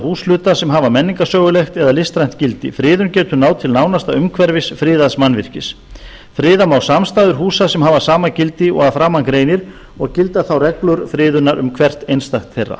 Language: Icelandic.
húshluta sem hafa menningarsögulegt eða listrænt gildi friðun getur náð til nánasta umhverfis friðaðs mannvirkis friða má samstæður húsa sem hafa sama gildi og að framan greinir og gilda þá reglur friðunar um hvert einstakt þeirra